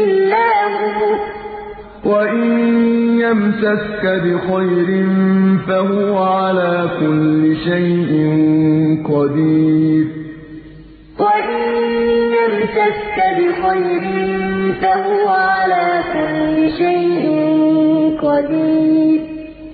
إِلَّا هُوَ ۖ وَإِن يَمْسَسْكَ بِخَيْرٍ فَهُوَ عَلَىٰ كُلِّ شَيْءٍ قَدِيرٌ